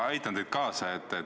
Ma aitan teid.